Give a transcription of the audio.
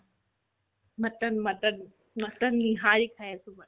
mutton mutton mutton nihari খাই আছো